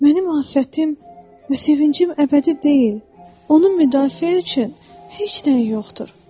Mənim afətim və sevincim əbədi deyil, onu müdafiə üçün heç nəyim yoxdur.